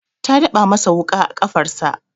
Ta daba masa wuƙa a kafarsa.